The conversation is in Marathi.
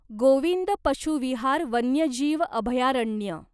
गोविंद पशू विहार वन्यजीव अभयारण्य